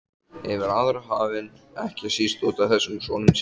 Yfir aðra hafinn, ekki síst útaf þessum sonum sínum.